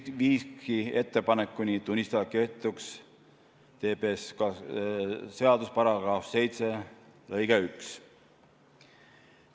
See viiski ettepanekuni tunnistada kehtetuks TPSKS-i § 7 lõige 1.